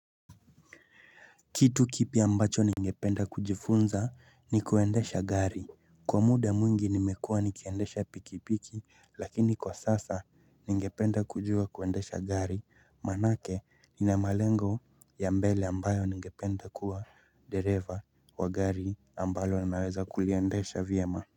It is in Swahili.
Kitu kipi ambacho ningependa kujifunza ni kuendesha gari kwa muda mwingi nimekuwa nikiendesha pikipiki lakini kwa sasa ningependa kujua kuendesha gari manake ninamalengo ya mbele ambayo ningependa kuwa deriva wa gari ambalo naweza kuliendesha vyema.